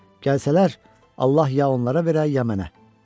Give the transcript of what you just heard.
Gəlsələr, Allah ya onlara verə, ya mənə.